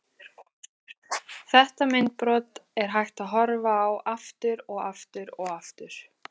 Þetta myndbrot er hægt að horfa á aftur og aftur og aftur.